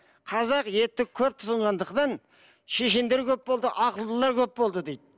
қазақ етті көп тұтынғандықтан шешендер көп болды ақылдылар көп болды дейді